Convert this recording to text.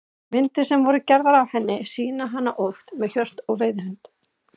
Myndir sem voru gerðar af henni sýna hana oft með hjört og veiðihund.